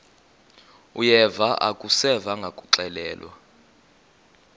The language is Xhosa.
uyeva akuseva ngakuxelelwa